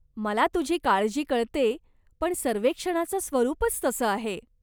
मला तुझी काळजी कळते, पण सर्वेक्षणाचं स्वरूपच तसं आहे.